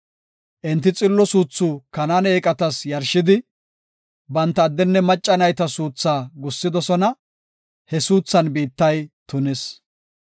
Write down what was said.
Enti xillo suuthu Kanaane eeqatas yarshidi, banta addenne macca nayta suutha gussidosona; he suuthan biittay tunis.